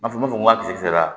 N b'a fɔ n b'a fɔ ko sera